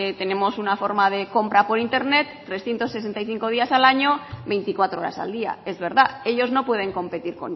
tenemos una forma de compra por internet trescientos sesenta y cinco días al año veinticuatro horas al día es verdad ellos no pueden competir